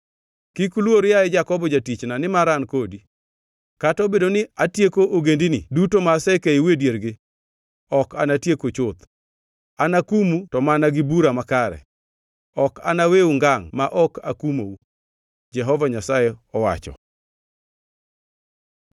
Kik iluor, yaye Jakobo jatichna, nimar an kodi. Kata obedo ni atieko ogendini duto ma asekeyou e diergi, ok anatieku chuth. Anakumu to mana gi bura makare; ok anaweu ngangʼ ma ok akumou,” Jehova Nyasaye owacho.